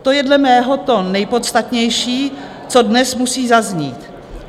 To je dle mého to nejpodstatnější, co dnes musí zaznít.